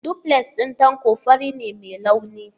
Duplex na Tanko fari ne mai launi.